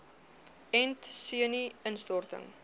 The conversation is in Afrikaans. ent senu instorting